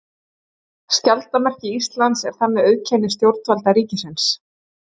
Skjaldarmerki Íslands er þannig auðkenni stjórnvalda ríkisins.